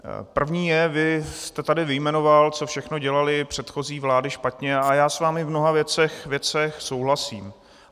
První je, vy jste tady vyjmenoval, co všechno dělaly předchozí vlády špatně, a já s vámi v mnoha věcech souhlasím.